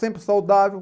sempre saudável.